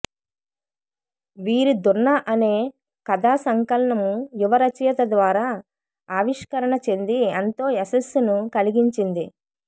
వీరి దున్న అనే కథా సంకలనం యువ రచయిత ద్వారా ఆవిష్కరణ చెంది ఎంతో యశస్సును కలిగించింది